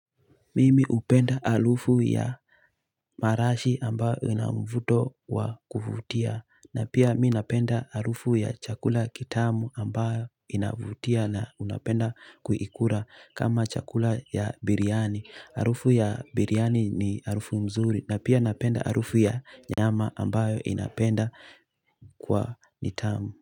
Mimi hupenda harufu ya marashi ambayo ina mvuto wa kuvutia na pia mi napenda harufu ya chakula kitamu ambayo inavutia na unapenda kuikula kama chakula ya biryani. Harufu ya biryani ni harufu nzuri. Na pia napenda harufu ya nyama ambayo inapenda kwa nitamu.